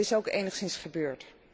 En dat is ook enigszins gebeurd.